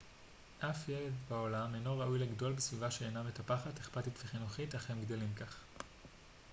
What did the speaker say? אף ילד בעולם אינו ראוי לגדול בסביבה שאינה מטפחת אכפתית וחינוכית אך הם גדלים כך